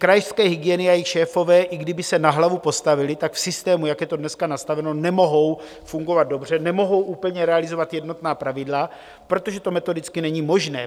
Krajské hygieny a jejich šéfové, i kdyby se na hlavu postavili, tak v systému, jak je to dneska nastaveno, nemohou fungovat dobře, nemohou úplně realizovat jednotná pravidla, protože to metodicky není možné.